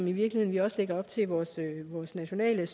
i virkeligheden også lægger op til i vores nationale